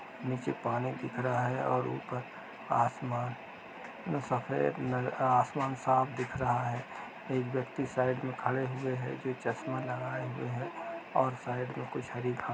नीचे पानी की तरह ही और ऊपर आसमान सफेद नज़र आसमान साफ दिख रहा है एक व्यक्ति साइड में खड़े हुई है जो चश्मा लगाए हुए हैं और साइड में कुछ हरी घा --